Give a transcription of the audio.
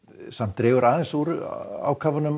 dregur aðeins úr ákafanum